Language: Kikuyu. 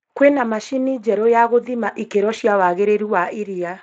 kwĩna macini njerũ ya gũthima ikĩro cia wagĩrĩru wa iria